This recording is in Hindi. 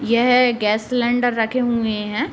यह गैस सिलिंडर रखें हुंये हैं।